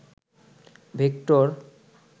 vector